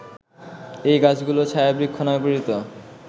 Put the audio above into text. এ গাছগুলো ছায়াবৃক্ষ নামে পরিচিত